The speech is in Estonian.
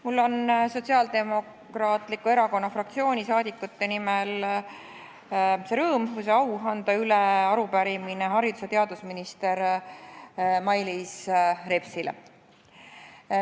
Mul on rõõm või au anda Sotsiaaldemokraatliku Erakonna fraktsiooni liikmete nimel üle arupärimine haridus- ja teadusminister Mailis Repsile.